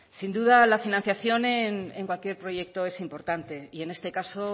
sin duda la financiación en cualquier proyecto es importante y en este caso